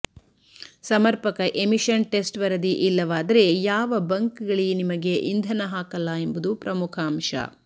ಸಮರ್ಪಕ emission test ವರದಿ ಇಲ್ಲವಾದರೆ ಯಾವ ಬಂಕ್ ಗಳಿ ನಿಮಗೆ ಇಂಧನ ಹಾಕಲ್ಲ ಎಂಬುದು ಪ್ರಮುಖ ಅಂಶ